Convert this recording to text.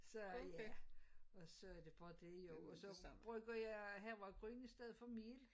Så ja og så det bare det jo og så bruger jeg havregryn i stedet for mel